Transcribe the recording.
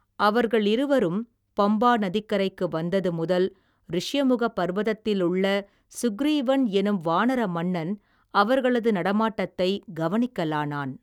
அவர்களிருவரும் பம்பா நதிக்கரைக்கு வந்தது முதல் ரிஷியமுகபர்வதத்திலுள்ள சுக்கிரீவன் என்னும் வானர மன்னன் அவர்களது நடமாட்டத்தைக் கவனிக்கலானான்.